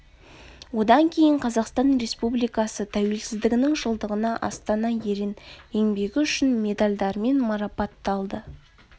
одан кейін қазақстан республикасы тәуелсіздігінің жылдығына астана ерен еңбегі үшін медальдарымен марапатталды